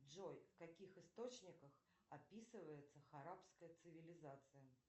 джой в каких источниках описывается арабская цивилизация